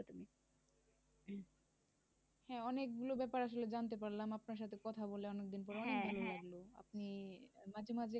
হ্যাঁ অনেকগুলো ব্যাপার আসলে জানতে পারলাম আপনার সাথে কথা বলে অনেকদিন পর অনেক ভালো লাগলো। আপনি মাঝে মাঝে